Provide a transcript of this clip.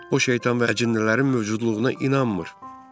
O, şeytan və əcinnələrin mövcudluğuna inanmır.